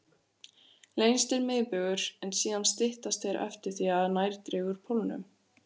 Lengstur er miðbaugur, en síðan styttast þeir eftir því sem nær dregur pólunum.